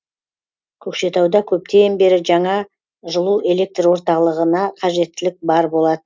көкшетауда көптен бері жаңа жылу электр орталығына қажеттілік бар